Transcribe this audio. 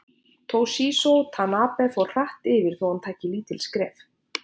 Toshizo Tanabe fór hratt yfir þó hann tæki lítil skref.